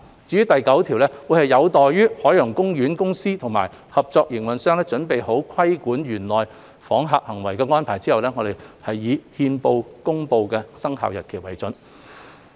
至於第9條，則有待海洋公園公司及合作營運商準備好規管園內訪客行為的安排後，我們以憲報公布的生效日期為準。